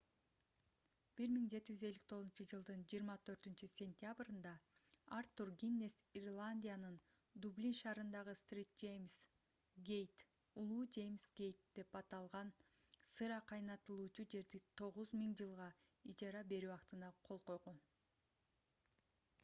1759-жылдын 24-сентябрында артур гиннес ирландиянын дублин шаарындагы st james gate улуу жеймс гейт деп аталган сыра кайнатылуучу жерди 9000 жылга ижарага берүү актына кол койгон